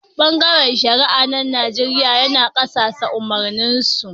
Bangaren shari'a na Nijeriya yana kasasa a' umarnin su.